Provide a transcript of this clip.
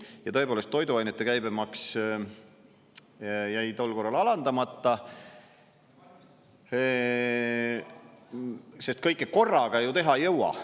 Ja tõepoolest toiduainete käibemaks jäi tol korral alandamata, sest kõike korraga ju teha ei jõua.